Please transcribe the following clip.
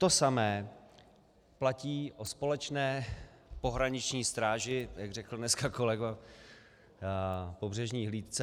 To samé platí o společné pohraniční stráži, jak řekl dneska kolega, pobřežní hlídce.